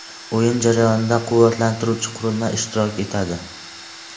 O‘yin jarayonida quvvatlantiruvchi qurilma ishtirok etadi.